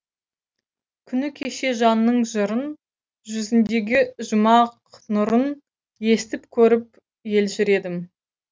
күні кеше жанның жырын жүзіндегі жұмақ нұрын естіп көріп елжіредім